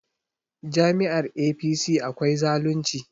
Jami'yar APC akwai zalunci